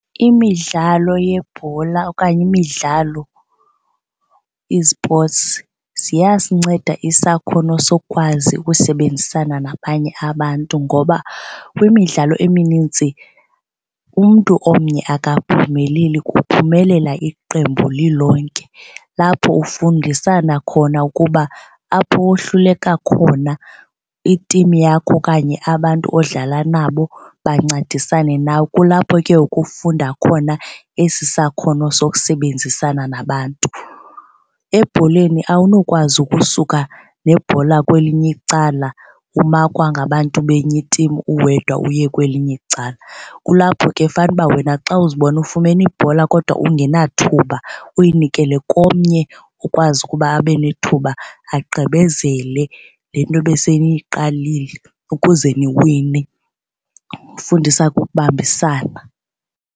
Imidlalo yebhola okanye imidlalo i-sports ziyasinceda isakhono sokwazi ukusebenzisana nabanye abantu ngoba kwimidlalo eminintsi umntu omnye akaphumeleli, kuphumelela iqembu lilonke. Lapho ufundisana khona ukuba apho wohluleka khona i-team yakho okanye abantu odlala nabo bancedisane nawe. Kulapho ke ngoku ufunda khona esi sakhono sokusebenzisana nabantu. Ebholeni awunokwazi ukusuka nebhola kwelinye icala umakwa ngabantu benye i-team uwedwa uye kwelinye icala. Kulapho ke fanuba wena xa uzibona ufumene ibhola kodwa ungenathuba uyinikele komnye ukwazi ukuba abe nethuba agqibezele le nto ebeseniyiqalile ukuze niwine. Kufundisa ke ukubambisana.